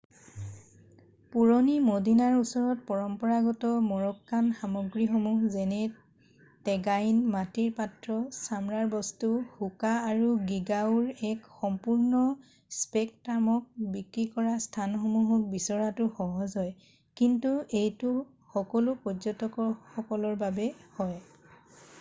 পুৰণি মদিনাৰ ওচৰত পৰম্পৰাগত মৰক্কান সামগ্ৰীসমূহ যেনে টেগাইন মাটিৰ পাত্ৰ ছামৰাৰ বস্তু হোকা আৰু গীগাউৰ এক সম্পূৰ্ণ স্পেকট্ৰামক বিক্ৰী কৰা স্থানসমূহক বিচৰাটো সহজ হয় কিন্তু এইটো সকলো পৰ্য্যটকসকলৰ বাবে হয়৷